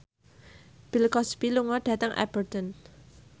Bill Cosby lunga dhateng Aberdeen